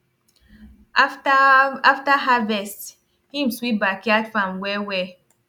after after harvest him sweep backyard farm wellwell